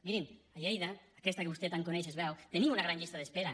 mirin a lleida aquesta que vostè tant coneix es veu tenim una gran llista d’espera